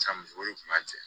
San muso o de tun b'a cɛ